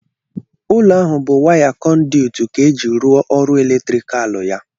Ụlọ ahụ bụ waya kọnduwit ka eji rụọ ọrụ eletrikal ya.